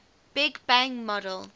big bang model